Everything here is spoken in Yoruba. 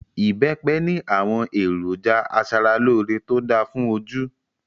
ibepe ni awon eroja asaraloore to da fun oju